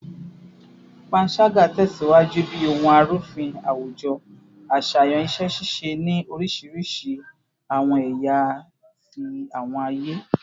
Panṣaga tẹsiwaju bi ohun arufin awujo aṣayan iṣẹ-ṣiṣe ni orisirisi awọn ẹya ti awọn aye